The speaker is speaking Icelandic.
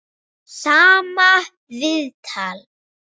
Sama viðtal.